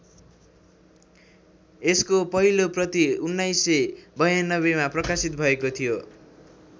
यसको पहिलो प्रति १९९२ मा प्रकाशित भएको थियो।